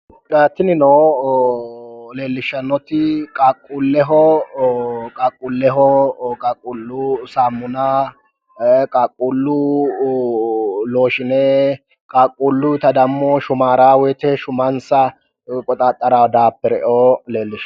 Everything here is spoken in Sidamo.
Tinino leellishshannoti qaaqquulleho, qaaqquullu saamuna, qaaqquullo looshshine qaaqquulluyiita dammo shumaara woyiite shumansa qoxaxarraa daapereoo leellishshanno.